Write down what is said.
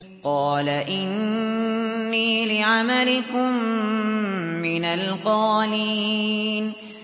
قَالَ إِنِّي لِعَمَلِكُم مِّنَ الْقَالِينَ